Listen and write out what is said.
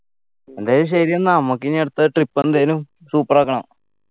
എന്നാ ശരി എന്നാ നമ്മക്കിനി അടുത്ത trip എന്തേലും super ആക്കണം